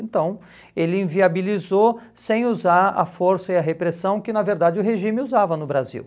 Então, ele inviabilizou sem usar a força e a repressão que, na verdade, o regime usava no Brasil.